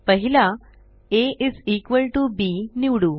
पहिला ab A is equal to बीनिवडू